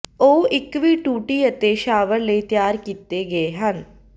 ਉਹ ਇਕ ਵੀ ਟੂਟੀ ਅਤੇ ਸ਼ਾਵਰ ਲਈ ਤਿਆਰ ਕੀਤੇ ਗਏ ਹਨ